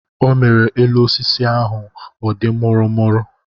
O mere elu osisi ahụ a dị mụrụ mụrụ.